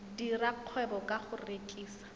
dira kgwebo ka go rekisa